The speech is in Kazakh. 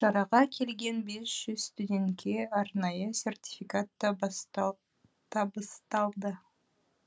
шараға келген бес жүз студентке арнайы сертификат табысталды